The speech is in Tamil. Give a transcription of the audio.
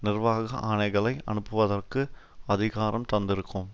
நிர்வாக ஆணைகளை அனுப்புவதற்கு அதிகாரம் தந்திருக்கும்